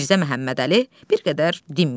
Mirzə Məhəmmədəli bir qədər dinməyib.